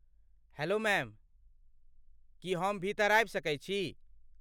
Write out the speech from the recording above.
Hello ma'am, की हम भीतर आबि सकैत छी?